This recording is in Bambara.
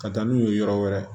Ka taa n'u ye yɔrɔ wɛrɛ